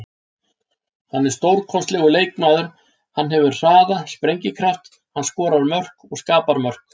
Hann er stórkostlegur leikmaður, hann hefur hraða, sprengikraft, hann skorar mörk og skapar mörk.